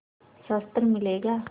शस्त्र मिलेगा